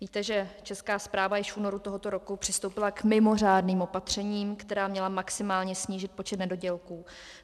Víte, že Česká správa již v únoru tohoto roku přistoupila k mimořádným opatřením, která měla maximálně snížit počet nedodělků.